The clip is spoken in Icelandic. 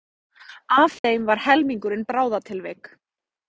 Af þeim var helmingurinn bráðatilvik